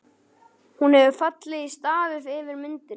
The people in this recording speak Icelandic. Hún hefur fallið í stafi yfir myndinni.